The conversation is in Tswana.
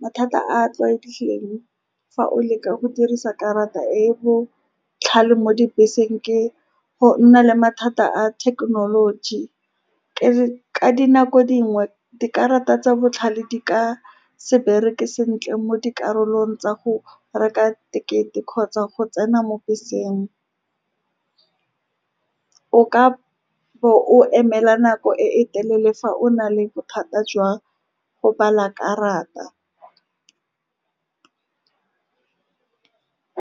Mathata a a tlwaelegileng fa o leka go dirisa karata e e botlhale mo dibeseng ke go nna le mathata a thekenoloji. Ka dinako dingwe, dikarata tsa botlhale di ka se bereke sentle mo dikarolong tsa go reka ticket-e kgotsa go tsena mo beseng. O ka bo o emela nako e telele fa o na le bothata jwa go bala karata.